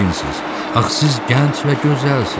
Axı siz gənc və gözəlsiniz?